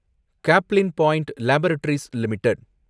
Caplin Point Laboratories limited